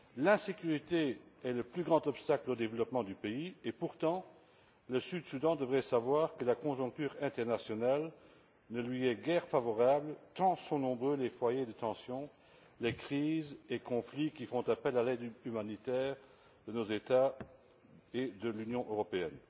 L'insécurité est le plus grand obstacle au développement du pays et pourtant, le Soudan du Sud devrait savoir que la conjoncture internationale ne lui est guère favorable tant sont nombreux les foyers de tension, les crises et les conflits qui requièrent l'aide humanitaire de nos États et de l'Union européenne.